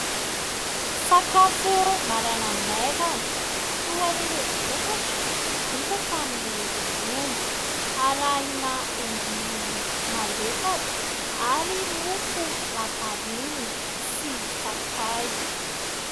Sakafo maraina maivana toa an'ireo vokatra vita tamin'ny ronono arahina endin'ovy malefaka ary mofo lafarinina sy sakay.